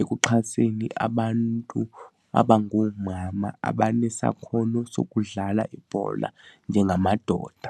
ekuxhaseni abantu abangoomama abanesakhono sokudlala ibhola njengamadoda.